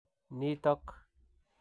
nitok"